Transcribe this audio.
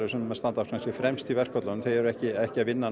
sem standa fremst í fremst í verkföllunum eru ekki ekki að vinna